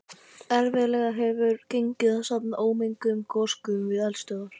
Erfiðlega hefur gengið að safna ómenguðum gosgufum við eldstöðvar.